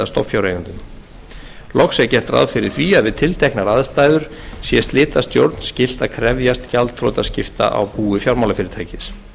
stofnfjáreigendum loks er gert ráð fyrir að við tilteknar aðstæður sé slitastjórn skylt að krefjast gjaldþrotaskipta á búi fjármálafyrirtækis